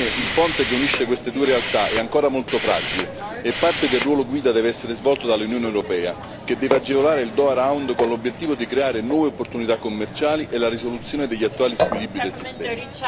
Ebbene, il ponte che unisce queste due realtà è ancora molto fragile e parte del ruolo guida deve essere svolto dall'Unione europea, che deve agevolare il Doha Round con l'obiettivo di creare nuove opportunità commerciali e la risoluzione degli attuali squilibri del sistema.